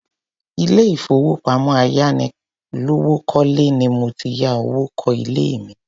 Ilé ìfowópamọ́ ayánilówókọ́lẹ́ ni mo ti ya owó kó ilé mi.